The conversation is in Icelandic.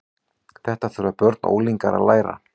Þetta þurfa börn og unglingar að læra.